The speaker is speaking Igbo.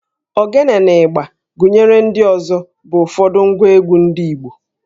Ogene na ịgbà gụnyere ndị ọzọ bụ ụfọdụ ngwa egwú ndị Igbo